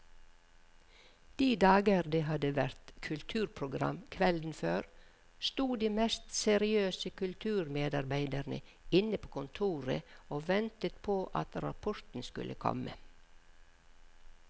De dager det hadde vært kulturprogram kvelden før, sto de mest seriøse kulturmedarbeidere inne på kontoret og ventet på at rapporten skulle komme.